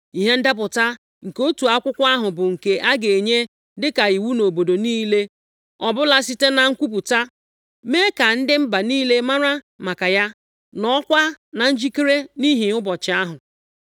Ihe ndepụta nke otu akwụkwọ ahụ bụ nke a ga-enye dịka iwu nʼobodo niile ọbụla site na nkwupụta, mee ka ndị mba niile mara maka ya, nọọkwa na njikere nʼihi ụbọchị ahụ.